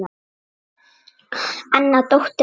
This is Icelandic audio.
Anna dóttir Ómars.